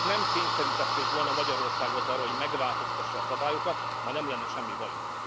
Ha Önök nem kényszerítették volna Magyarországot arra, hogy megváltoztassa a szabályokat, ma nem lenne semmi bajunk.